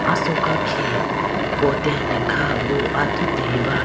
asoka khege potene kha boo athuti ba.